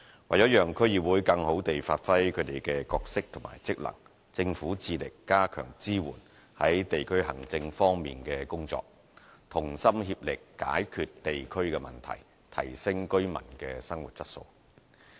為了讓區議會更好地發揮其角色和職能，政府致力加強支援在地區行政方面的工作，同心協力解決地區的問題，提升居民的生活質素。